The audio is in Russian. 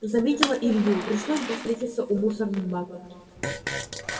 заметила илью пришлось бы встретиться у мусорных баков